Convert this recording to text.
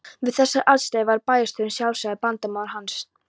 Við þessar aðstæður var bæjarstjórinn sjálfsagður bandamaður hans.